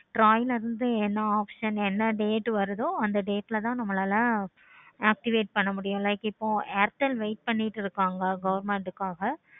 இருந்து என்ன option என்ன date வருதோ அந்த date ல லாம் நம்மளால activate பண்ண முடியும். wait பண்ணிக்கிட்டு இருப்பாங்க government காக்க